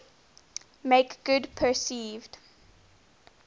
make good perceived